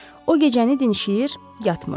O gecəni dinşiyir, yatmırdı.